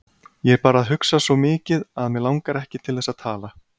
Ég er bara að hugsa svo mikið að mig langar ekki til þess að tala.